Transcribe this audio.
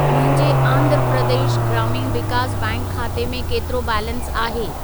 मुंहिंजे आंध्र प्रदेश ग्रामीण विकास बैंक खाते में केतिरो बैलेंस आहे?